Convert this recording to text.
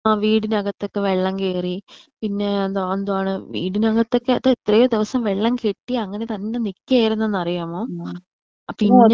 ആ വീടിനകത്ത് ഒക്കെ വെള്ളം കേറി. പിന്നെ എന്താ എന്താണ് വീടിനക്കത്തൊക്കെ അത് എത്രെ ദിവസം വെള്ളം കെട്ടി അങ്ങനെ തന്നെ നികേർന്ന് ന്ന് അറിയാമോ പിന്നേ.